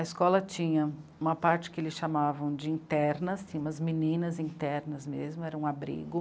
A escola tinha uma parte que eles chamavam de interna, assim, umas meninas internas mesmo, era um abrigo.